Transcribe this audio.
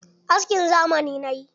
Askin zamani na yi.